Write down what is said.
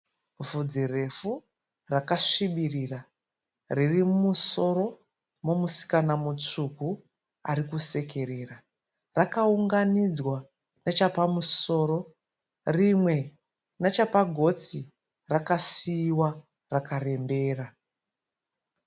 Vhudzi refu rakasvibirira riri mumusoro momusikana mutsvuku ari kusekerera. Rakaunganidzwa nechapamusoro rimwe nachapagotsi rakasiiwa rakarembera.